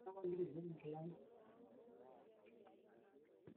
keisidain ilkeek te emukunta natii enkoshoke amu keibooyo eoroto oo nkulupuo